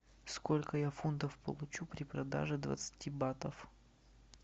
сколько я фунтов получу при продаже двадцати батов